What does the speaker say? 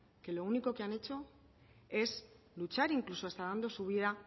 que lo único que han hecho es luchar incluso hasta dando su vida